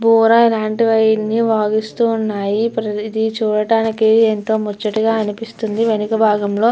బూర లాంటివన్నీ వాయిస్తున్నాయి. ఇది చూడటానికి ఎంతో ముచ్చటగా అనిపిస్తుంది. వెనక భాగం లో --